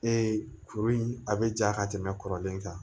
Ee kuru in a bɛ ja ka tɛmɛ kɔrɔlen kan